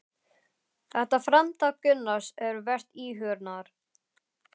Þetta framtak Gunnars er vert íhugunar.